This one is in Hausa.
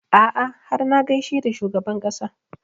A'a har na gaishe da shugaban ƙasa